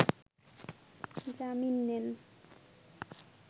জামিন নেন